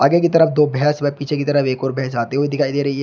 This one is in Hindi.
की तरफ दो भैंस व पीछे की तरफ एक और भैंस आती हुई दिखाई दे रही है।